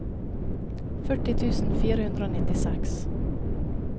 førti tusen fire hundre og nittiseks